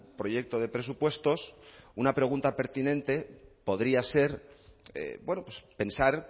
proyecto de presupuestos una pregunta pertinente podría ser pensar